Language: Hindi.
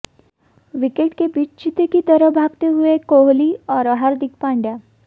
विकेट के बीच चीते की तरह भागते हुए कोहली और हार्दिक पांड्या